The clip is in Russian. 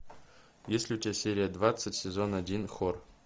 есть ли у тебя серия двадцать сезон один хор